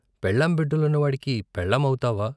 పెళ్ళాం బిడ్డలున్నవాడికి పెళ్ళాం అవుతావా?